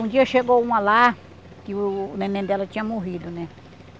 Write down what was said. Um dia chegou uma lá que o neném dela tinha morrido, né?